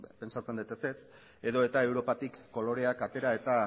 pentsatzen dut ezetz edota europatik koloreak atera eta